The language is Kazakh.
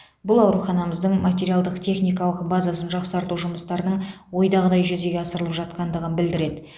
бұл ауруханымыздың материалдық техникалық базасын жақсарту жұмыстарының ойдағыдай жүзеге асырылып жатқандығын білдіреді